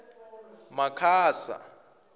makhasa